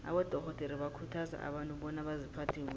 abadorhodere bakhuthaza abantu bona baziphathe kuhle